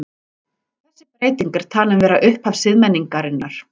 Þessi breyting er talin vera upphaf siðmenningarinnar.